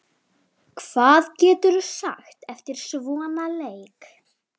Hvað geturðu sagt eftir svona leik?